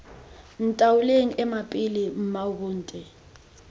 ntaoleng ema pele mmaabo nte